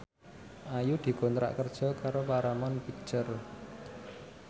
Ayu dikontrak kerja karo Paramount Picture